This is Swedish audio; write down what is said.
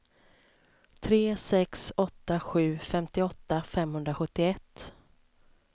tre sex åtta sju femtioåtta femhundrasjuttioett